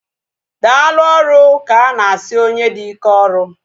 Daalụ ọrụ ka ana asị onye dị ike ọrụ